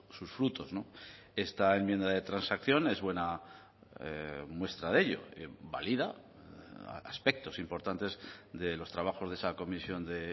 sus frutos esta enmienda de transacción es buena muestra de ello valida aspectos importantes de los trabajos de esa comisión de